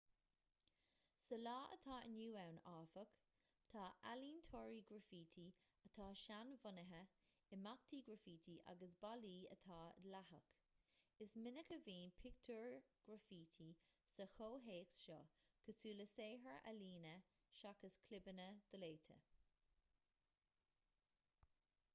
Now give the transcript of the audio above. sa lá atá inniu ann áfach tá ealaíontóirí graifítí atá seanbhunaithe imeachtaí graifítí agus ballaí atá dleathach is minic a bhíonn pictiúir ghraifítí sa chomhthéacs seo cosúil le saothair ealaíne seachas clibeanna doléite